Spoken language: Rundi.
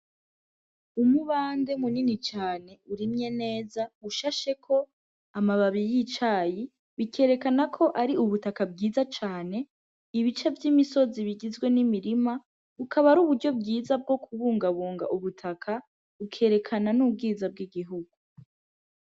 Umubande munini cane urimye neza, ushasheko amababi y'icayi bikerekana ko ari ubutaka bwiza cane, ibice vy'imisozi bigizwe n'imirima bukaba ari uburyo bwiza bwo kubungabunga ubutaka, bikerekana n'ubwiza bw'igihugu.